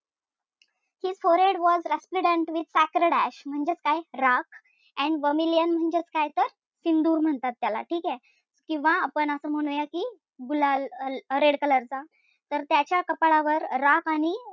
His forehead was resplendent with sacred ash म्हणजेच काय राख and vermillion म्हणजेच काय तर सिंदूर म्हणतात त्याला. ठीक आहे? किंवा आपण असू म्हणुया की गुलाल, red color चा, तर त्याच्या कपाळावर राख आणि,